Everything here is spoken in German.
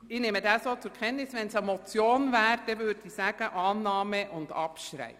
Würde es sich um eine Motion handeln, würde ich Ihnen Annahme und Abschreibung beantragen.